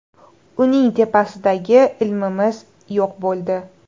Uning tepasidagi ilmimiz yo‘q bo‘ldi.